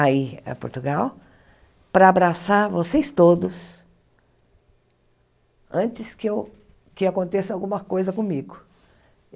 aí a Portugal, para abraçar vocês todos antes que eu que aconteça alguma coisa comigo.